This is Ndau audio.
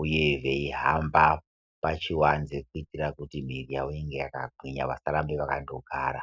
uye veihamba pachiwanze kuitira kuti mwiri yawo inge yakagwinya vasarambe vakandogara.